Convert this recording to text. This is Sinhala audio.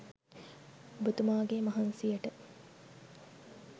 ඔබතුමාගේ මහන්සියට